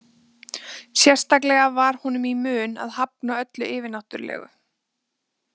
Sérstaklega var honum í mun að hafna öllu yfirnáttúrulegu.